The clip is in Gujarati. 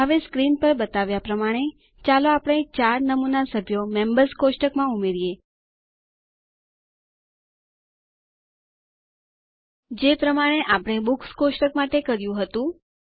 હવે સ્ક્રીન પર બતાવ્યા પ્રમાણે ચાલો આપણે 4 નમૂના સભ્યો મેમ્બર્સ કોષ્ટકમાં ઉમેરીએ જે પ્રમાણે આપણે બુક્સ કોષ્ટક માટે કર્યું હતું